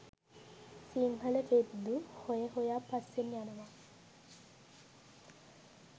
සිංහල වෙද්දු හොය හොයා පස්සෙන් යනවා